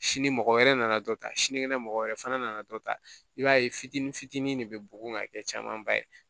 Sini mɔgɔ wɛrɛ nana dɔ ta sinikɛnɛ mɔgɔ wɛrɛ fana nana dɔ ta i b'a ye fitinin fitinin de be bugun ŋa kɛ camanba ye